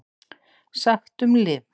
SAGT UM LIV